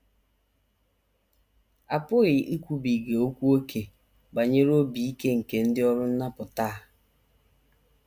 A pụghị ikwubiga okwu ókè banyere obi ike nke ndị ọrụ nnapụta a.